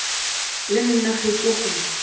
le nna ge ke go